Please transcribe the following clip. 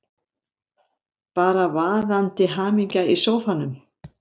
Bara vaðandi hamingja í sófanum!